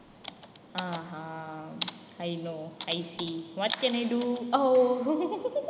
ஆஹான் i know i see what can I do O